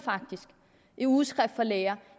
i ugeskrift for læger